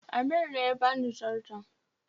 Amir ne ya bani zarton